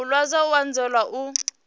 o luzaho u anzela u